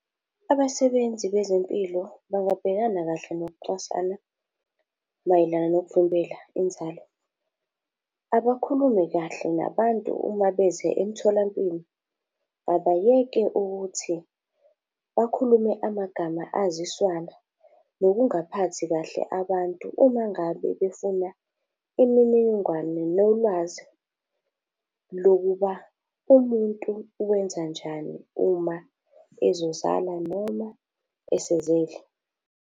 Abasebenzi bezempilo bangabhekana kahle nokucwasana mayelana nokuvimbela inzalo. Abakhulume kahle nabantu uma beze emtholampilo. Abayeke ukuthi bakhulume amagama aziswana, nokungaphathi kahle abantu umangabe befuna imininingwane, nolwazi lokuba umuntu wenzanjani uma ezozala noma esezele.